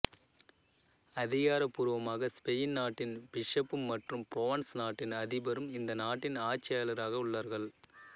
அதிகாரப் பூர்வமாக ஸ்பெயின் நாட்டின் பிஷப்பும் மற்றும் பிரான்ஸ் நாட்டின் அதிபரும் இந்த நாட்டின் ஆட்சியர்களாக உள்ளார்கள்